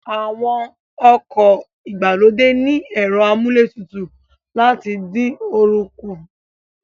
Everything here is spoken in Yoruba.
Àwọn ọkọ̀ ìgbàlódé ní ẹ̀rọ amúlé tutù láti dín oorun kù